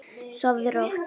Kerfið brást þeim.